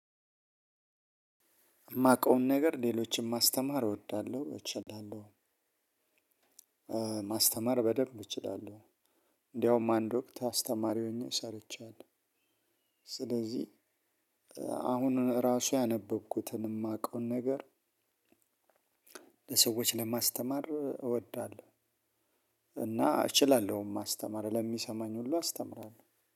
የማውቀውን ነገር ሌሎችን ማስተማር እወዳለሁ እችላለሁ። ማስተማር በደንብ እችላለሁ። እንደውም አንድ ወቅት አስተማሪ ሆኜ ሰርቻለሁ። ስለዚህ አሁን ራሱ ያነበብኩትን የማውቀውን ነገር። ለሰዎች ለማስተማር እወዳለሁ። እና እችላለሁ ማስተማር ለሚሰማኝ ሁሉ አስተምራለሁ።